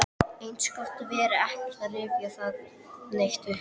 Eins gott að vera ekkert að rifja það neitt upp.